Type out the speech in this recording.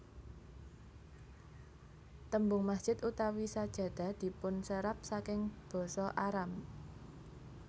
Tembung masjid utawi sajada dipunserap saking basa Aram